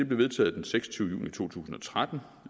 blev vedtaget den seksogtyvende juni to tusind og tretten